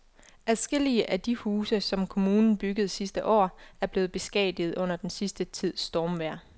Adskillige af de huse, som kommunen byggede sidste år, er blevet beskadiget under den sidste tids stormvejr.